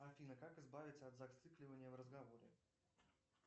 афина как избавиться от зацикливания в разговоре